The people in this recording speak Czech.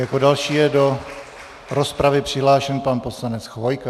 Jako další je do rozpravy přihlášen pan poslanec Chvojka.